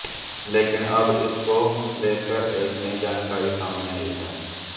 लेकिन अब इसको लेकर एक नई जानकारी सामने आई है